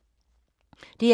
DR2